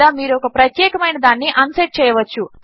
లేదా మీరు ఒక ప్రత్యేకము అయిన దానిని అన్సెట్ చేయవచ్చు